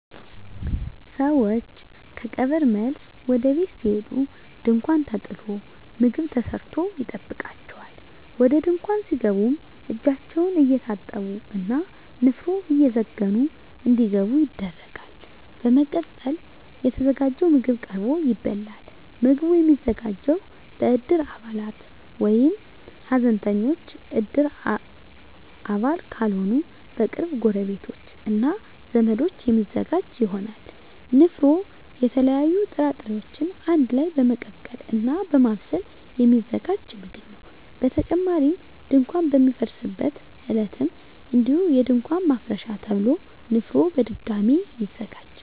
ሰወች ከቀብር መልስ ወደ ቤት ሲሄዱ ድንኳን ተጥሎ ምግብ ተሰርቶ ይጠብቃቸዋል። ወደ ድንኳን ሲገቡም እጃቸውን እየታጠቡ እና ንፍሮ እየዘገኑ እንዲገቡ ይደረጋል። በመቀጠልም የተዘጋጀው ምግብ ቀርቦ ይበላል። ምግቡ የሚዘጋጀው በእድር አባላት ወይም ሀዘንተኞች እድር አባል ካልሆኑ በቅርብ ጎረቤቶች እና ዘመዶች የሚዘጋጅ ይሆናል። ንፍሮ የተለያዩ ጥራጥሬወችን አንድ ላይ በመቀቀል እና በማብሰል የሚዘጋጅ ምግብ ነው። በተጨማሪም ድንኳን በሚፈርስበት ዕለትም እንዲሁ የድንኳን ማፍረሻ ተብሎ ንፍሮ በድጋሚ ይዘጋጃል።